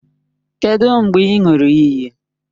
Kedụ mgbe ị ṅụrụ iyi?